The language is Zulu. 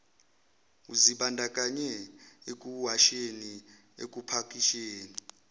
uzibandakanye ekuwasheni ekupakisheni